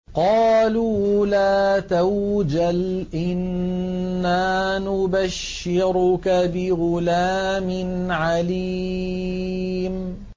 قَالُوا لَا تَوْجَلْ إِنَّا نُبَشِّرُكَ بِغُلَامٍ عَلِيمٍ